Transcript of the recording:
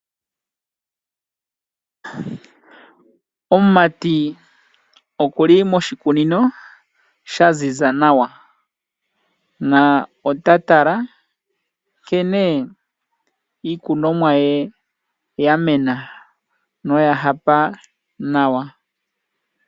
Omumati okuli moshikunino shaziza nawa na otala nkene iikunwamo ye yamena noyahapa nawa.